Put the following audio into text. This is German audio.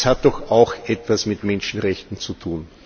Das hat doch auch etwas mit Menschenrechten zu tun.